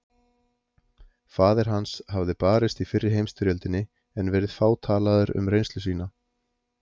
Faðir hans hafði barist í fyrri heimsstyrjöldinni en verið fátalaður um reynslu sína.